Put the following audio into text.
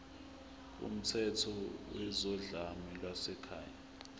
kumthetho wezodlame lwasekhaya